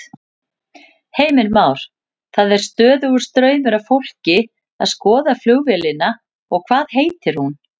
Heimir Már: Það er stöðugur straumur af fólki að skoða flugvélina og hvað heitir hún?